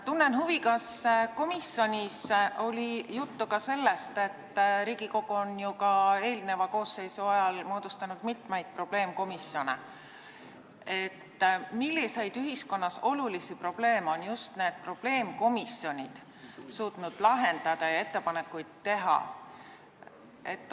Tunnen huvi, kas komisjonis oli juttu ka sellest – Riigikogu on ju eelmise koosseisu ajal samuti moodustanud mitmeid probleemkomisjone –, milliseid ühiskonnas olulisi probleeme on probleemkomisjonid suutnud lahendada ja mis ettepanekuid teha.